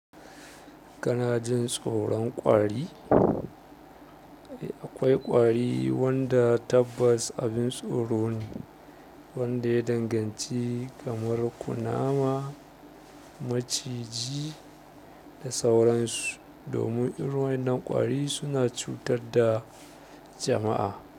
Kana jin tsoron ƙwari? Akwai ƙwari wanda tabbas abin tsoro ne wanda ya danganci kamar kunama, maciji da sauransu. Domin irin waƴannan ƙwari suna cutar da jama'a.